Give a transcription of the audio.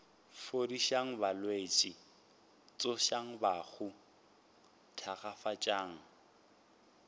fodišang balwetši tsošang bahu thakgafatšang